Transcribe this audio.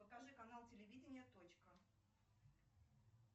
покажи канал телевидения точка